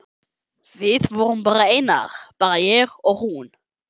Við vorum einar, bara ég og hún.